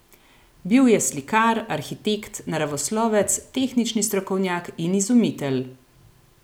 Bil je slikar, arhitekt, naravoslovec, tehnični strokovnjak in izumitelj.